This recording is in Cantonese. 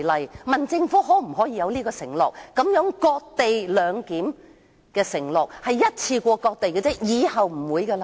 我問政府可否作出承諾，表明這種"割地兩檢"只做一次，以後不會再有。